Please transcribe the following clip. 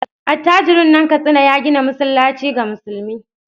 Attajirin nan Katsina ya gina masallaci ga musulmi.